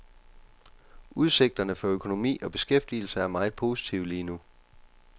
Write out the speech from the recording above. Udsigterne for økonomi og beskæftigelse er meget positive lige nu.